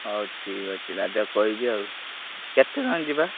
ହଉ ଠିକ ଅଛି। ରାଜା କୁ କହିବି ଆଉ କେତେଜଣ ଯିବା?